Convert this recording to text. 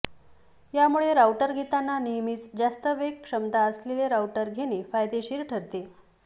यामुळे राऊटर घेताना नेहमीच जास्त वेग क्षमता असलेले राऊटर घेणे फायदेशीर ठरते